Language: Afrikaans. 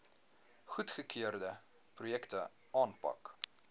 goedgekeurde projekte aanpak